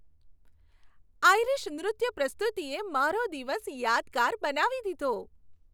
Irish નૃત્ય પ્રસ્તુતિએ મારો દિવસ યાદગાર બનાવી દીધો.